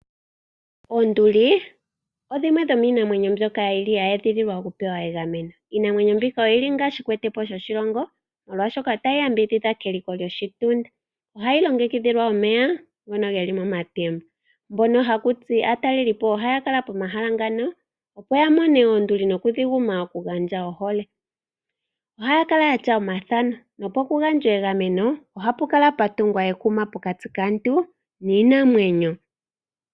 Oonduli odhili dhimwe dhomiimamwenyo mbyoka ya edhililwa no ya pewa egameno. Iinamwenyo mbika oyili shikwetepo gwoshilongo, molwashoka otayi yambidhidha keliko lyo shitunda. Ohayi longekidhilwa omeya ngono haga kala momatemba, aatalelipo oha yeya pomahala ngaka yagume oonduli nokudhipa ohole. Ohaya kala ya tya omathano no kugandja egameno ohapu kala puna ekuma pokati kaantu niinamwenyo.